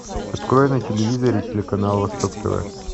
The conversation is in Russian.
открой на телевизоре телеканал восток тв